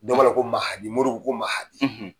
Dɔw b'a la ko mahadi moru ko mahadi.